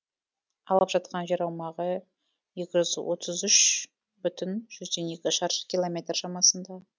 алып жатқан жер аумағы екі жүз отыз үш бүтін жүзден екі шаршы километр шамасында